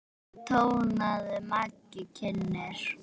tónaði Maggi kynnir.